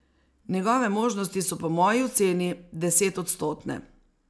Njegove možnosti so po moji oceni desetodstotne.